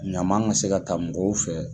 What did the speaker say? Ɲama bɛ se ka taa mɔgɔw fɛ.